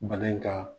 Bana in ka